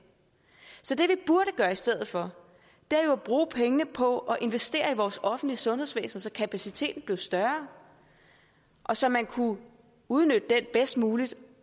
så det vi burde gøre i stedet for er jo at bruge pengene på at investere i vores offentlige sundhedsvæsen så kapaciteten blev større og så man kunne udnytte den bedst muligt